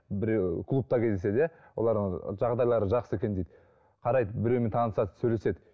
біреуі клубта кездеседі иә олар жағдайлары жақсы екен дейді қарайды біреуімен танысады сөйлеседі